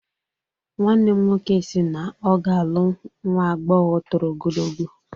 Nwannem nwoke si na ọ ga-alụ nwa agbọghọ toro ogologo